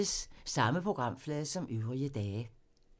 Samme programflade som øvrige dage